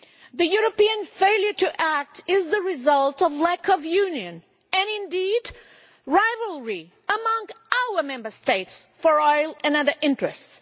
The European failure to act is the result of lack of union and indeed rivalry among our Member States over oil and other interests.